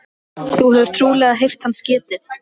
Þú hefur trúlega heyrt hans getið.